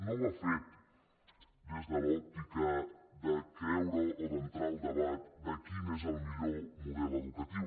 no ho ha fet des de l’òptica de creure o d’entrar al debat de quin és el millor model educatiu